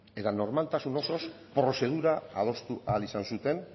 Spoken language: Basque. eta normaltasun osoz prozedura adostu ahal izan zuten